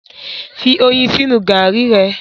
fí oyin sínú garri re.